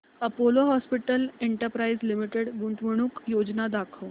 Apollo hospitals enterprise limited गुंतवणूक योजना दाखव